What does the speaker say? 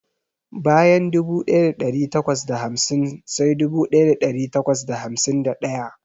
Bayan dubu ɗaya da ɗari takwas da hamsin sai dubu ɗaya da ɗari takwas da hamsin da ɗaya.